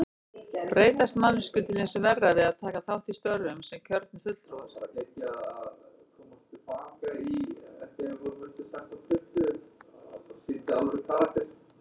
Breytast manneskjur til hins verra við að taka þátt í störfum sem kjörnir fulltrúar?